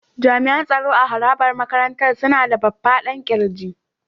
Jami'an tsaro a harabar makarantar suna da faffadan ƙirji.